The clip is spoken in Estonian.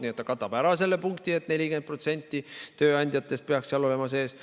Nii et ta katab ära selle punkti, et 40% tööandjatest peaks seal sees olema.